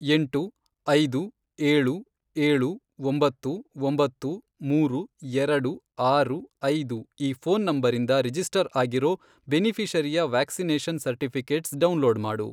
ಎಂಟು, ಐದು, ಏಳು, ಏಳು, ಒಂಬತ್ತು, ಒಂಬತ್ತು, ಮೂರು, ಎರಡು, ಆರು, ಐದು, ಈ ಫ಼ೋನ್ ನಂಬರಿಂದ ರಿಜಿಸ್ಟರ್ ಆಗಿರೋ ಬೆನಿಫಿ಼ಷರಿಯ ವ್ಯಾಕ್ಸಿನೇಷನ್ ಸರ್ಟಿಫಿ಼ಕೇಟ್ಸ್ ಡೌನ್ಲೋಡ್ ಮಾಡು.